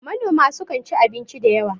manoma sukan ci abinci da yawa